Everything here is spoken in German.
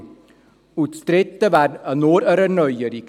Das Dritte wäre nur eine Erneuerung.